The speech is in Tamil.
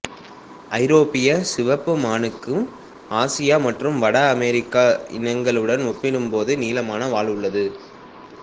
ஐரோப்பிய சிவப்பு மானுக்கு ஆசிய மற்றும் வட அமெரிக்க இனங்களுடன் ஒப்பிடும்போது நீளமான வால் உள்ளது